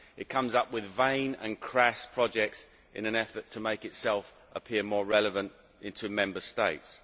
It comes up with vain and crass projects in an effort to make itself appear more relevant to Member States.